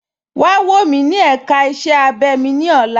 Wà wọ̀ mí ní èká ìṣẹ̀ abẹ̀ ni ọ̀lá.